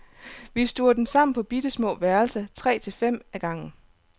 Vi stuver dem sammen på bittesmå værelser, tre til fem ad gangen.